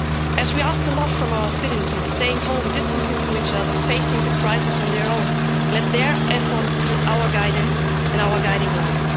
As we ask a lot from our citizens staying home, distancing from each other, facing the crisis on their own let their efforts be our guidance and our guiding line.